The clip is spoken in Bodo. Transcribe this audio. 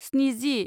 स्निजि